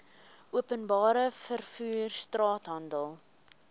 openbare vervoer straathandel